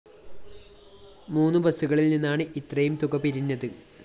മൂന്ന് ബസുകളില്‍ നിന്നാണ് ഇത്രയും തുക പിരിഞ്ഞത്